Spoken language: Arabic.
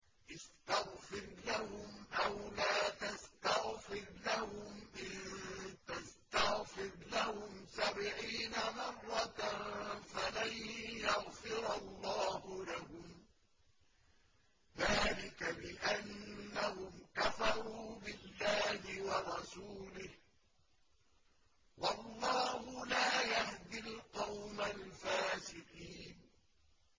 اسْتَغْفِرْ لَهُمْ أَوْ لَا تَسْتَغْفِرْ لَهُمْ إِن تَسْتَغْفِرْ لَهُمْ سَبْعِينَ مَرَّةً فَلَن يَغْفِرَ اللَّهُ لَهُمْ ۚ ذَٰلِكَ بِأَنَّهُمْ كَفَرُوا بِاللَّهِ وَرَسُولِهِ ۗ وَاللَّهُ لَا يَهْدِي الْقَوْمَ الْفَاسِقِينَ